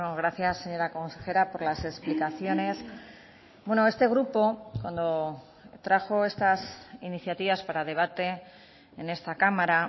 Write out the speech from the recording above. gracias señora consejera por las explicaciones este grupo cuando trajo estas iniciativas para debate en esta cámara